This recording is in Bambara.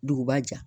Duguba jɛ